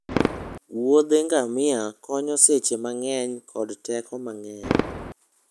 wuodhe ngamia konyo seche mang'eny kod teko mang'eny.